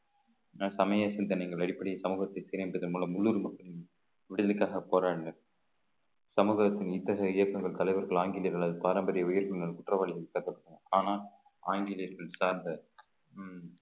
சமய சிந்தனைகள் அடிப்படை சமூகத்திற்கு இணைந்ததன் மூலம் உள்ளூர் மக்களின் விடுதலைக்காக போராடுங்கள் சமூகத்தின் இத்தகைய இயக்கங்கள் தலைவர்கள் ஆங்கிலேயர்களால் பாரம்பரிய வியப்புகள் குற்றவாளிகள் ஆனால் ஆங்கிலேயர்கள் சார்ந்த